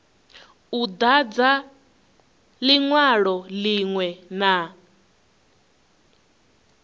u dadza linwalo linwe na